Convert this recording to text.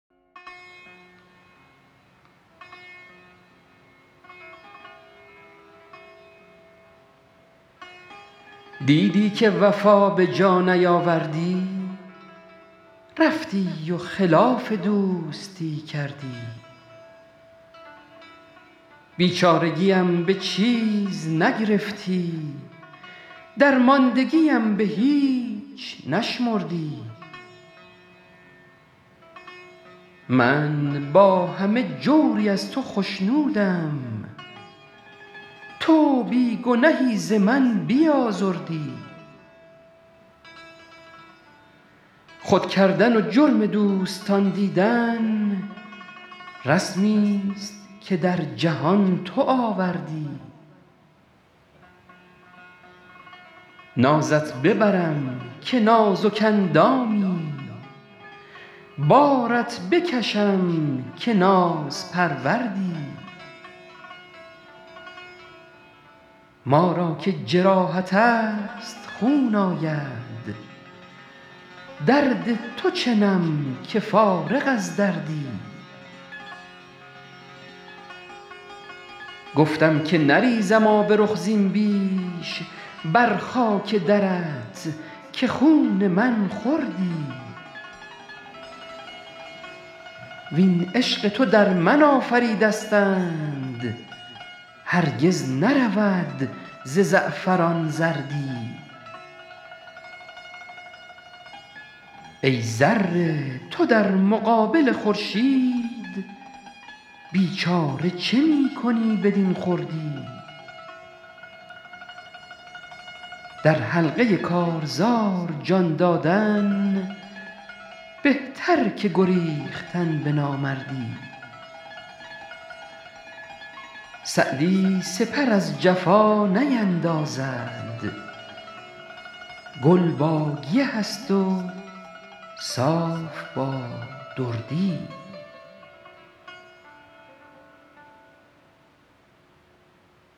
دیدی که وفا به جا نیاوردی رفتی و خلاف دوستی کردی بیچارگیم به چیز نگرفتی درماندگیم به هیچ نشمردی من با همه جوری از تو خشنودم تو بی گنهی ز من بیازردی خود کردن و جرم دوستان دیدن رسمیست که در جهان تو آوردی نازت ببرم که نازک اندامی بارت بکشم که نازپروردی ما را که جراحت است خون آید درد تو چنم که فارغ از دردی گفتم که نریزم آب رخ زین بیش بر خاک درت که خون من خوردی وین عشق تو در من آفریدستند هرگز نرود ز زعفران زردی ای ذره تو در مقابل خورشید بیچاره چه می کنی بدین خردی در حلقه کارزار جان دادن بهتر که گریختن به نامردی سعدی سپر از جفا نیندازد گل با گیه است و صاف با دردی